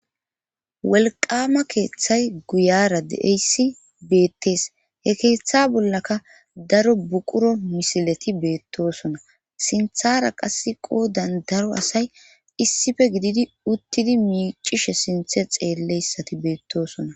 Wolqama keeththay guyara deeyssi beettes he keeththa bollaka daro buquro misileti beettosona sinthara qas qoo dandaro asay issife gididi uttidi miicishe sinthe xeelleyssati beettosona